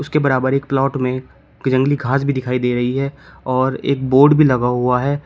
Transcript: उसके बराबर एक प्लॉट में की जंगली घास भी दिखाई दे रही है और एक बोर्ड भी लगा हुआ है।